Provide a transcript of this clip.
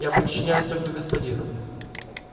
я подчиняюсь только господину